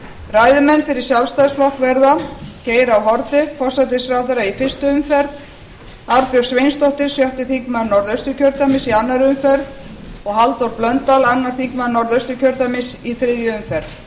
ræðumenn fyrir sjálfstæðisflokk verða geir h haarde forsætisráðherra í fyrstu umferð arnbjörg sveinsdóttir sjötti þingmaður norðausturkjördæmis í annarri umferð og halldór blöndal öðrum þingmönnum norðausturkjördæmis í þriðju umferð